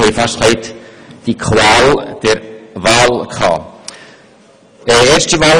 Dabei hatten wir fast die Qual der Wahl.